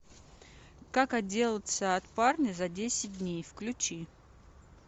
как отделаться от парня за десять дней включи